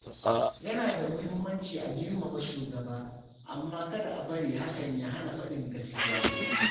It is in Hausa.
Yana da muhimmanci a girmama shugaba, amma kada a bari hakan ya hana faɗin gaskiya.